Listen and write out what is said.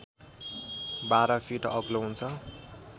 १२ feet अग्लो हुन्छ